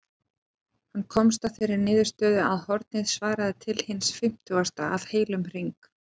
Hann komst að þeirri niðurstöðu að hornið svaraði til eins fimmtugasta af heilum hring.